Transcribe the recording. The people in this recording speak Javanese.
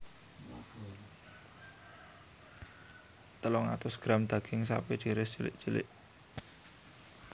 Telung atus gram daging sapi diiris cilik cilik